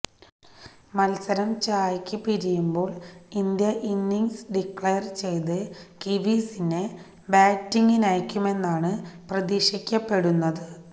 മത്സരം ചായയ്ക്ക് പിരിയുമ്പോള് ഇന്ത്യ ഇന്നിംഗ്സ് ഡിക്ലയര് ചെയ്ത് കിവീസിനെ ബാറ്റിംഗിനയയ്ക്കുമെന്നാണ് പ്രതീക്ഷിക്കപ്പെടുന്നത്